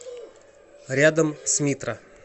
рядом смитра